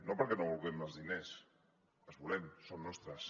no perquè no vulguem els diners els volem són nostres